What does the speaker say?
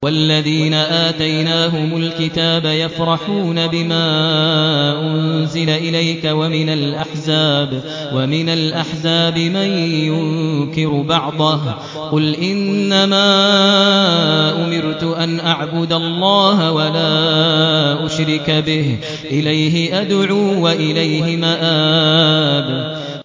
وَالَّذِينَ آتَيْنَاهُمُ الْكِتَابَ يَفْرَحُونَ بِمَا أُنزِلَ إِلَيْكَ ۖ وَمِنَ الْأَحْزَابِ مَن يُنكِرُ بَعْضَهُ ۚ قُلْ إِنَّمَا أُمِرْتُ أَنْ أَعْبُدَ اللَّهَ وَلَا أُشْرِكَ بِهِ ۚ إِلَيْهِ أَدْعُو وَإِلَيْهِ مَآبِ